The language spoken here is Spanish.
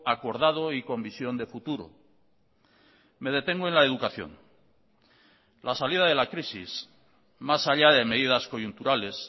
acordado y con visión de futuro me detengo en la educación la salida de la crisis más allá de medidas coyunturales